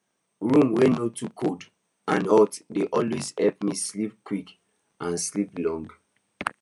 room wey no too cold and hot dey always help me sleep quick and sleep long